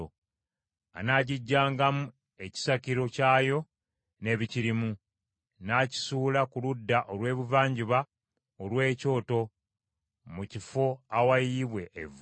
Anaagiggyangamu ekisakiro kyayo n’ebikirimu, n’akisuula ku ludda olw’ebuvanjuba olw’ekyoto mu kifo awayiyibwa evvu.